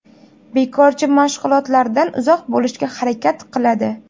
Bekorchi mashg‘ulotlardan uzoq bo‘lishga harakat qiladi.